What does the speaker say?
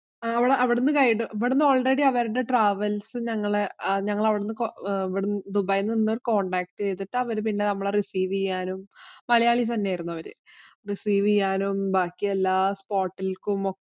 അവിടുന്ന് guide ഇവിടുന്നു already ഞങ്ങളെ ഞങ്ങള് അവിടുന്ന് ദുബായില്‍ നിന്ന് contact ചെയ്തിട്ട് പിന്നെ നമ്മളെ receive ചെയ്യാനും മലയാളി തന്നെ ആയിരുന്നു അവര്. receive ചെയ്യാനും, ബാക്കി എല്ലാ spot ലേക്കും ഒക്കെ